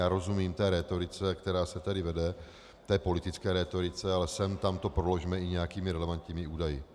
Já rozumím té rétorice, která se tady vede, té politické rétorice, ale sem tam to proložme i nějakými relevantními údaji.